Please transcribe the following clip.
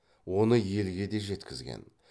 оны елге де жеткізген